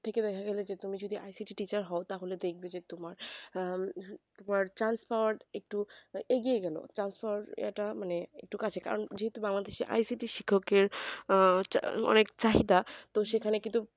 দেখা গেলো যে তুমি যদি icity র teacher হও তাহলে দেখবে যে তোমার আহ তোমার chance পাওয়ার একটু এগিয়ে গেলো chance পাওয়ার একটা মানে একটু কাছে কারণ যেহেতু bangladesh এ icity শিক্ষকের আহ অনেক চাহিদা তো সেখানে কিন্তু